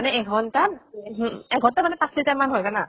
মানে এঘন্টাত উহু এঘন্টাত মানে পাঁছ litre মান হয় জানা।